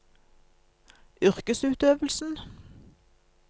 yrkesutøvelsen